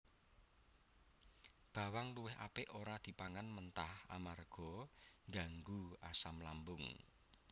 Bawang luwih apik ora dipangan mentah amarga ngganggu asam lambung